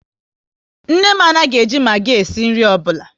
Nne m anaghị e ji Magi esi nri ọbụla